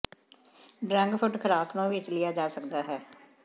drug ਫੁੱਟ ਖ਼ੁਰਾਕ ਨੂੰ ਵਿੱਚ ਲਿਆ ਜਾ ਸਕਦਾ ਹੈ